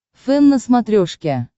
фэн на смотрешке